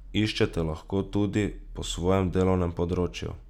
Iščete lahko tudi po svojem delovnem področju.